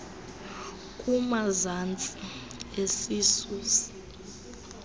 kumazantsi esisu nas